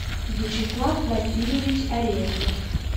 вячеслав васильевич арефьев